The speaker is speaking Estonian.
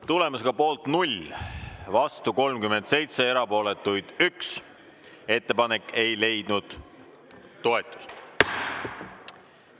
Tulemusega poolt 0, vastu 37 ja erapooletuid 1, ei leidnud ettepanek toetust.